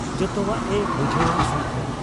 ᱡᱚᱛᱚᱣᱟᱜ ᱮ ᱵᱩᱡᱷᱟᱹᱣ ᱟ ᱥᱟᱹᱝᱠᱷᱟᱹᱭ ᱾